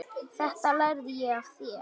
Þetta lærði ég af þér.